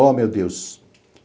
Oh, meu Deus!